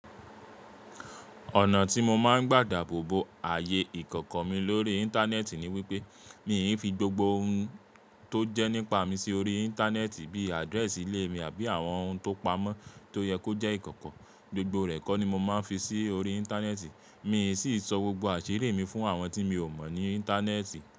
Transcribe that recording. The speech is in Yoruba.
Ọ̀nà tí mo máa ń gbàdà bóbo ààyè ìkọ̀kọ̀ mi lórí Íńtánẹ́ẹ̀tì ni wípé mi ì fi gbogbo ohun tó jẹ́ nípa mi sí orí Íńtánẹ́ẹ̀tì bí i àdírẹ́ẹ̀sì ilé mi àbí àwọn ohun tó pamọ́ tó yẹ kó jẹ́ ìkọ̀kọ̀. Gbogbo rẹ̀ kó ni mo máa ń fi sí orí Íńtánẹ́ẹ̀tì. Mi sì ń sọ gbogbo àṣírí mi fún àwọn tí mi ò mọ̀ ní Íńtánẹ́ẹ̀tì.